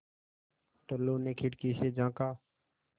टुल्लु ने खिड़की से झाँका